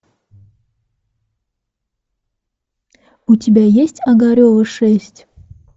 у тебя есть огарева шесть